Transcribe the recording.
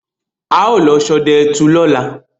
Á ó lọ sodẹ ẹtù lóla